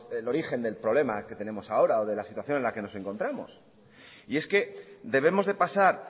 el origen del problema que tenemos ahora o de la situación en la que nos encontramos y es que debemos de pasar